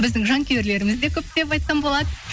біздің жанкүйерлеріміз де көп деп айтсам болады